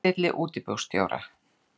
fyrir tilstilli útibússtjóra.